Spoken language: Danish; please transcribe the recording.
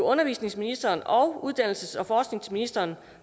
undervisningsministeren og uddannelses og forskningsministeren